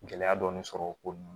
Gɛlɛya dɔɔni sɔrɔ o kɔnɔna na